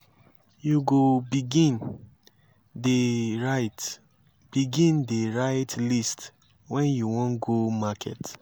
you go begin dey write begin dey write list wen you wan go market.